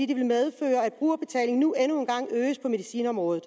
det vil medføre at brugerbetalingen nu endnu engang øges på medicinområdet